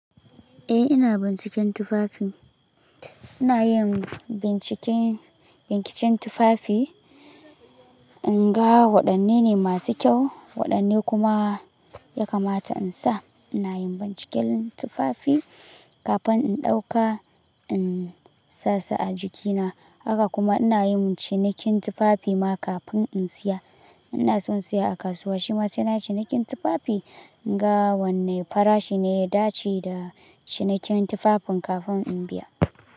Eh ina binciken tufafi. Ina yin binciken, binciken tufafi, in ga waɗanne ne masu kyau, waɗanne kuma ya kamata in sa. Ina yin binciken tufafi kafin in ɗauka, in sa su a jikina. Haka kuma ina yin cinikin tufafi ma kafin in siya. Ina so in siya a kasuwa, shi ma sai na yi cinikin tufafi in ga wanne farashi ne ya dace da cinikin tufafin kafin in biya.